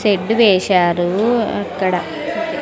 Shed వేశారు అక్కడ.